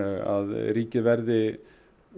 að ríkið verði